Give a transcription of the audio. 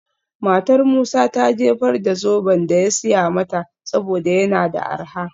Matar Musa ta jefar da zoben da ya siya mata saboda yana da arha.